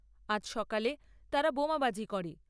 আজ সকালে তারা বোমাবাজি করে।